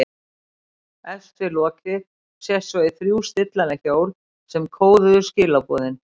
Efst við lokið sést svo í þrjú stillanleg hjól sem kóðuðu skilaboðin.